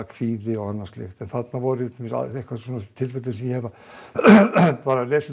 kvíði og annað slíkt þarna voru tilfelli sem ég hef bara lesið